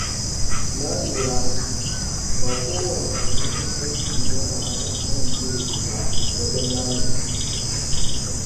Na lura cewa ba kowane abokin aiki ne ya kamata a amince da shi ba wajen lamuni.